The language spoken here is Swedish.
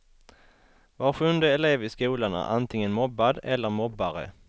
Var sjunde elev i skolan är antingen mobbad eller mobbare.